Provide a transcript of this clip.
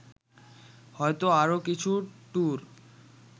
হয়ত আরও কিছু ট্যুর